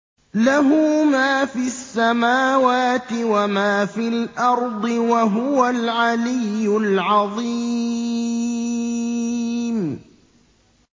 لَهُ مَا فِي السَّمَاوَاتِ وَمَا فِي الْأَرْضِ ۖ وَهُوَ الْعَلِيُّ الْعَظِيمُ